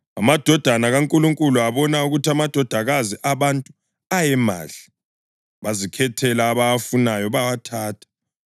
amadodana kaNkulunkulu abona ukuthi amadodakazi abantu ayemahle, bazikhethela abawafunayo bawathatha.